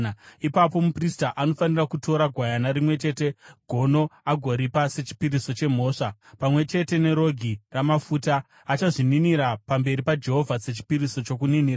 “Ipapo muprista anofanira kutora gwayana rimwe chete gono agoripa sechipiriso chemhosva pamwe chete nerogi ramafuta; achazvininira pamberi paJehovha sechipiriso chokuninira.